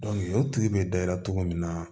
o tigi bɛ da i la cogo min na